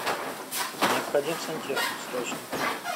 необходим сантехник срочно